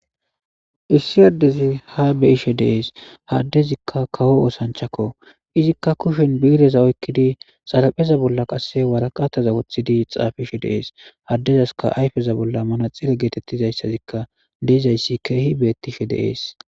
Issi addezi ha be'ishe dees ha addezikka kawo osanchchako izikka kushen bi'ireza oykkidi xarapheza bolla qasse waraqataza woththidi xaafishe dees addezaskka ayfeza bolla manaxire geetetizaykka dizayssikka keehi beetishe de'es.